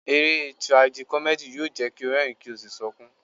Eré Tirajikọ́mẹ́dì yóò jẹ́ kí o rẹ́rìń, kí o sì sunkún.